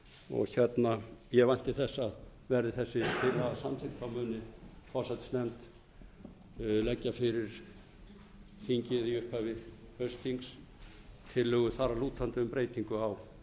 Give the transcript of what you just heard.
og ég vænti þess að verði þessi tillaga samþykkt muni forsætisnefnd leggja fyrir þingið upphafi haustþings tillögu þar að lútandi um breytingu á